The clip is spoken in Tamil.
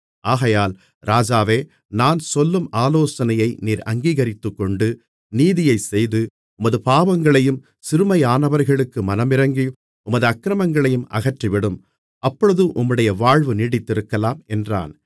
ஆகையால் ராஜாவே நான் சொல்லும் ஆலோசனையை நீர் அங்கீகரித்துக்கொண்டு நீதியைச் செய்து உமது பாவங்களையும் சிறுமையானவர்களுக்கு மனமிரங்கி உமது அக்கிரமங்களையும் அகற்றிவிடும் அப்பொழுது உம்முடைய வாழ்வு நீடித்திருக்கலாம் என்றான்